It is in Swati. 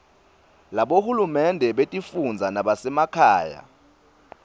labohulumende betifundza nabasemakhaya